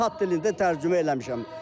tat dilində tərcümə eləmişəm.